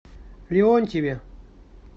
леонтьеве